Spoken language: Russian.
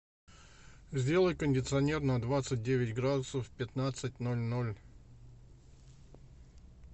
сделай кондиционер на двадцать девять градусов в пятнадцать ноль ноль